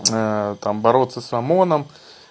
там бороться с омоном